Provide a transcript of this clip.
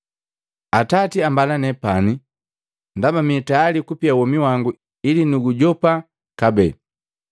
“Atati ambala nepani ndaba mitayali kupia womi wangu ili nuujopa kabee.